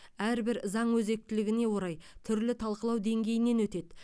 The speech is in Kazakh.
әрбір заң өзектілігіне орай түрлі талқылау деңгейінен өтеді